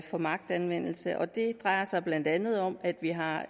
for magtanvendelse og det drejer sig blandt andet om at vi har